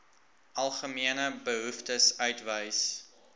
algemene behoeftes uitwys